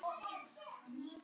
Hvað sem reynt var.